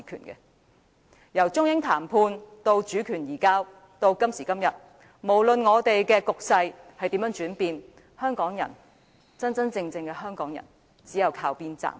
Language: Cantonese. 由中英談判到主權移交，到了今時今日，不論局勢如何轉變，真正的香港人只有靠邊站。